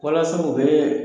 Walasa u bɛ.